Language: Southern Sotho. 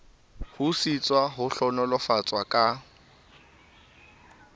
ho sitswa ho hlohonolofatswa ka